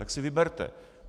Tak si vyberte.